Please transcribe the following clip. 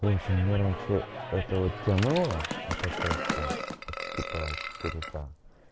в общем мне раньше это вот тянуло это качество типа четыре ка